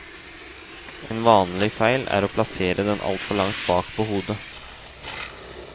En vanlig feil er å plassere den altfor langt bak på hodet.